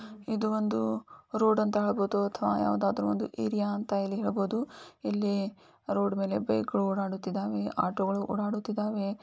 ಇದು ಒಂದು ರೋಡು ಅಂತ ಹೇಳಬಹುದು ಅಥವಾ ಯಾವುದಾದರೂ ಒಂದು ಏರಿಯಾ ಅಂತ ಹೇಳಬಹುದು ಇಲ್ಲಿ ರೋಡ್ ಮೇಲೆ ಬೈಕು ಓಡಾಡುತ್ತಿದ್ದಾವೆ ಆಟೋಗಳು ಓಡಾಡುತ್ತಿದ್ದಾವೆ.